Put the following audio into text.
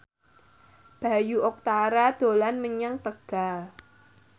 Bayu Octara dolan menyang Tegal